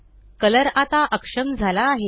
colour आता अक्षम झाला आहे